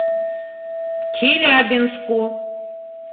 челябинску